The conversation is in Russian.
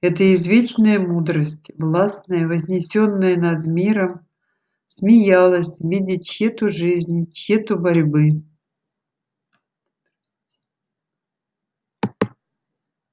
это извечная мудрость властная вознесённая над миром смеялась видя тщету жизни тщету борьбы